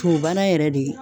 Tubabu bana yɛrɛ de ye